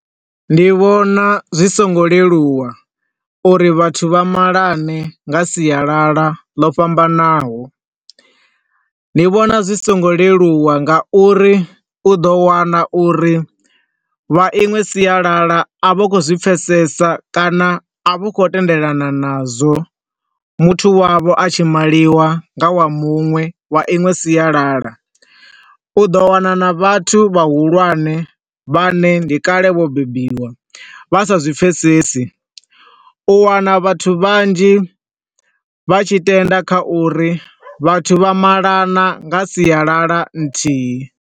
Ndi vhona zwi songo leluwa uri vhathu vha malane nga sialala ḽo fhambanaho. Ndi vhona zwi so ngo leluwa nga uri, u ḓo wana uri vha iṅwe sialala a vha khou zwi pfesesa kana a vha khou tendelana na zwo muthu wavho a tshi maliwa nga wa muṅwe wa inwe sialala. U ḓo wana na vhathu vha hulwane vha ne ndi kale vho bebiwa vha sa zwipfesesi, u wana vhathu vhanzhi vha tshi tenda kha uri vhathu vha malana nga sialala nthihi.